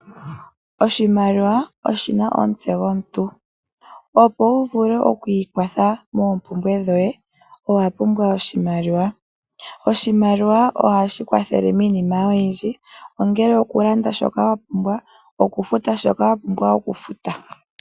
Oshimaliwa oshina omutse gwomuntu, opo wu vule okwii kwatha moo mpumbwe dhoye owa pumbwa oshimaliwa. Oshimaliwa ohashi kwathele miinima oyindji ongele oku landa shoka wa pumbwa, oku futa shoka wa pumbwa oku futa.